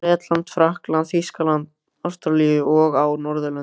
Bretlandi, Frakklandi, Þýskalandi, Ástralíu og á Norðurlöndum.